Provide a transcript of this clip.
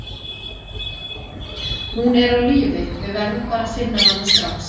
Hún er á lífi, við verðum bara að finna hana strax.